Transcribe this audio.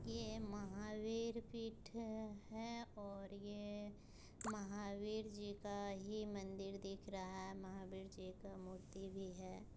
ये महावीर पीठ है और ये महावीर जी का ही मंदिर दिख रहा है महावीर जी का मूर्ति भी है।